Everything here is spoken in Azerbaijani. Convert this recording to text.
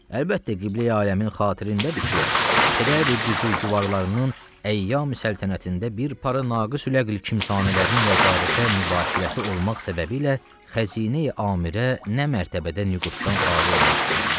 Əlbəttə, qibləi aləmin xatirindədir ki, pədər-i büzürgüvarlarının əyyam-i səltənətində bir para naqis ül əql kimsanələrinin vəzarətə mübaşirəti olmaq səbəbilə xəzinə-i amirə nə mərtəbədə nüquddan xali olmuşdu.